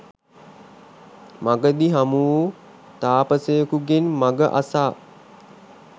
මග දී හමු වූ තාපසයකුගෙන් මඟ අසා